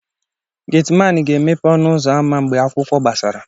Getiman ga-emepe ọnụ ụzọ ámá mgbe akwụkwọ gbasara